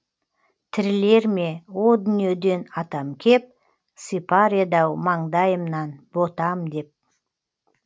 тірілер ме о дүниеден атам кеп сипар еді ау маңдайымнан ботам деп